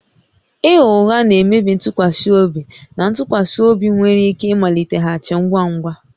Ịgha ụgha na-emebi ntụkwasị obi na ntụkwasị obi nwere ike ịmaliteghachi ngwa ngwa